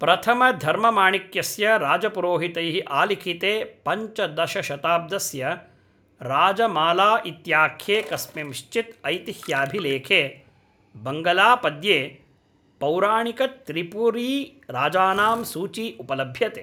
प्रथमधर्ममाणिक्यस्य राजपुरोहितैः आलिखिते पञ्चदश शताब्दस्य राजमालाइत्याख्ये कस्मिँश्चित् ऐतिह्याभिलेखे बङ्गलापद्ये पौराणिकत्रिपुरीराजानां सूची उपलभ्यते